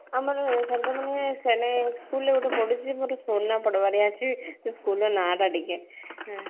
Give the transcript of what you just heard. ଆମର center ମାନେ କେନ school ରେ ଗୋଟେ ପଡିଛି ସେ school ର ନାଁ ଟା ଟିକେ